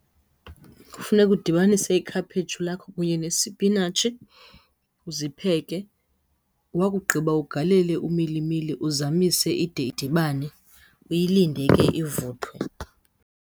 Kufuneka udibanise ikhaphetshu lakho kunye nesipinatshi, uzipheke. Wakugqiba ugalele umilimili uzamise ide idibane, uyilinde ke ivuthwe.